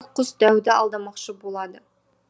самұрық құс дәуді алдамақшы болады